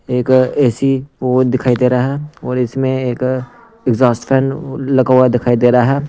एक ए_सी वो दिखाई दे रहा है और इसमें एक एग्जॉस्ट फैन लगा हुआ दिखाई दे रहा है।